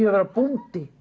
að vera bóndi